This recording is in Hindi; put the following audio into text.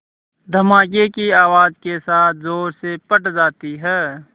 धमाके की आवाज़ के साथ ज़ोर से फट जाती है